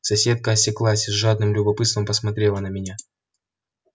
соседка осеклась и с жадным любопытством посмотрела на меня